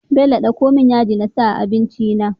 Bello dako mun yaji nasa a abinci na